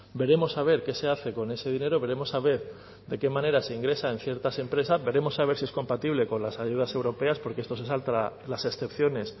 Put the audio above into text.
veremos a ver qué se hace con ese dinero veremos a ver de qué manera se ingresa en ciertas empresas veremos a ver si es compatible con las ayudas europeas porque esto se salta las excepciones